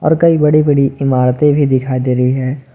और कई बड़ी बड़ी इमारतें भी दिखाई दे रही हैं।